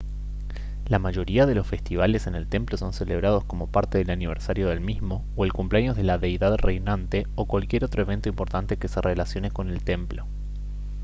la mayoría de los festivales en el templo son celebrados como parte del aniversario del mismo o el cumpleaños de la deidad reinante o cualquier otro evento importante que se relacione con el templo